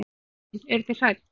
Guðrún: Eruð þið hrædd?